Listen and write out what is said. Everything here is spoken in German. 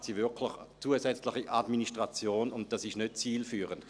– Dann schaffen Sie wirklich zusätzliche Administration, und das ist nicht zielführend.